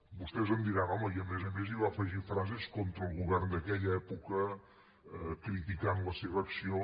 vostès em diran home i a més a més hi va afegir frases contra el govern d’aquella època criticant la seva acció